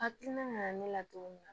Hakilina nana ne la cogo min na